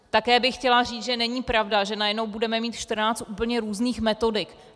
Také bych chtěla říct, že není pravda, že najednou budeme mít 14 úplně různých metodik.